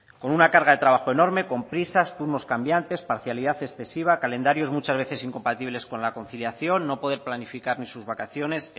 con una carga de trabajo enorme con prisas turnos cambiantes parcialidad excesiva calendarios muchas veces incompatibles con la conciliación no poder planificar ni sus vacaciones